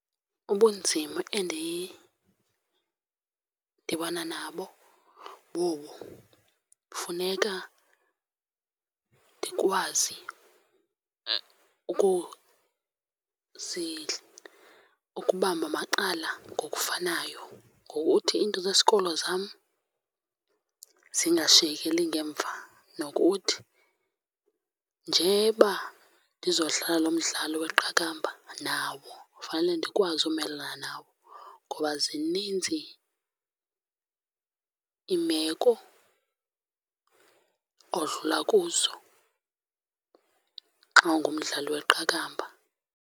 Ubunzima endidibana nabo bobu. Funeka ndikwazi ukubamba macala ngokufanayo, ngokuthi iinto zesikolo zam zingashiyekeli ngemva. Nokuthi njeba ndizodlala lo mdlalo weqakamba nawo fanele ndikwazi umelana nawo, ngoba zininzi iimeko odlula kuzo xa ungumdlali weqakamba.